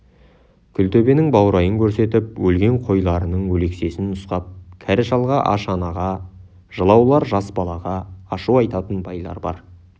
күлтөбенің баурайын көрсетіп өлген қойларының өлексесін нұсқап кәрі шалға аш анаға жылаулар жас балаға ашу айтатын байлар бар